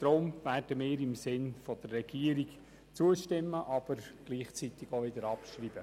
Deshalb werden wir im Sinne der Regierung zustimmen und gleichzeitig abschreiben.